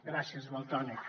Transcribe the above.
gràcies valtònyc